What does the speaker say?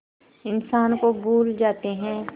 इंसान को भूल जाते हैं